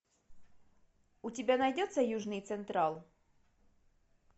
у тебя найдется южный централ